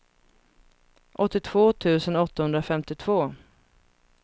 åttiotvå tusen åttahundrafemtiotvå